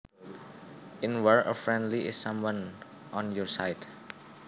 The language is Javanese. In war a friendly is someone on your side